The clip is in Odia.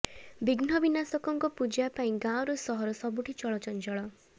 ବିଘ୍ନ ବିନାଶକଙ୍କ ପୂଜା ପାଇଁ ଗାଁରୁ ସହର ସବୁଠି ଚଳଚଞ୍ଚଳ